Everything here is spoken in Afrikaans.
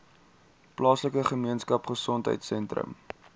plaaslike gemeenskapgesondheid sentrum